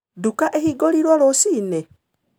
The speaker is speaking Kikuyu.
Nduka ĩhingũrĩrwo rũcinĩ?